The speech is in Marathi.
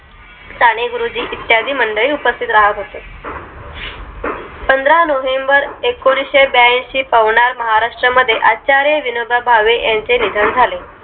साने गुरुजी इत्यादी मंडळी उपस्तित राहत होते पंधरा नोव्हेंबर एकोणिसहेबयांशी पावणार महाराष्ट्रामध्ये आचार्य विनोबा भावे यांचे निधन झाले